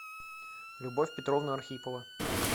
любовь петровна архипова